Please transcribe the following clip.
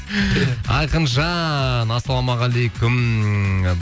айқынжан ассалаумағалейкум